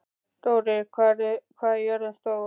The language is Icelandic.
Dóri, hvað er jörðin stór?